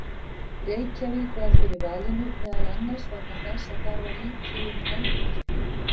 Reykjavík varð fyrir valinu meðal annars vegna þess að þar var lítið um eldvirkni.